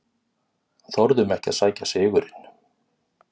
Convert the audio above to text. Þorðum ekki að sækja sigurinn